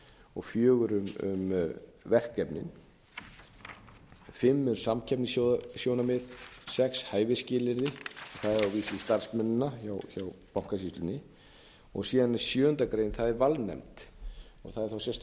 og fjögur um verkefnin fimm er um samkeppnissjónarmið sex hæfisskilyrði það starfsmennina hjá bankasýslunni síðan er sjöunda grein það er valnefnd það er þá sérstök